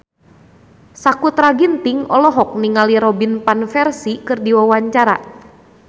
Sakutra Ginting olohok ningali Robin Van Persie keur diwawancara